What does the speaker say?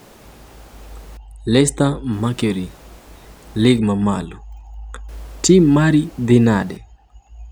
(Leicester Mercury) Lig ma malo: Tim mari dhi nade?